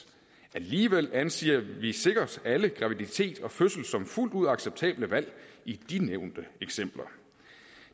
alligevel anser vi sikkert alle graviditet og fødsel som fuldt ud acceptable valg i de nævnte eksempler